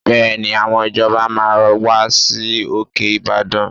Bẹ́ẹ̀ni, àwọn ìjọba máa wá sí òkè Ìbàdàn